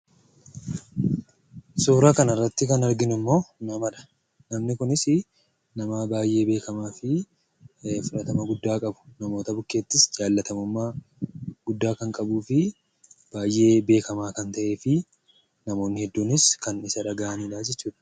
Suura kana irratti kan argaa jirru namadha. Namni Kunis nama baay'ee beekkamaa fi fudhatama guddaa qabu namoota bukkeettis jaalatamummaa guddaa kan qabuu fi baay'ee beekkamaa ta'ee fi namoonni Isa dhagahan jechuudha.